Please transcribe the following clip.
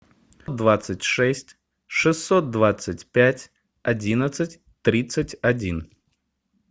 двадцать шесть шестьсот двадцать пять одиннадцать тридцать один